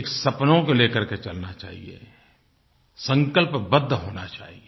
एक सपनों को ले कर के चलना चाहिए संकल्पबद्ध होना चाहिए